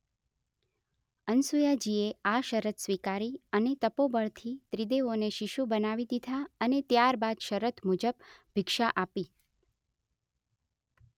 અનસુયાજીએ આ શરત સ્વીકારી અને તપોબળથી ત્રિદેવોને શિશુ બનાવી દીધા અને ત્યાર બાદ શરત મુજબ ભિક્ષા આપી